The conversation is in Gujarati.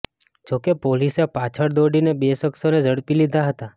જોકે પોલીસે પાછળ દોડીને બે શખ્સોને ઝડપી લીધા હતા